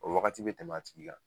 O wagati bɛ tɛmɛ a tigi la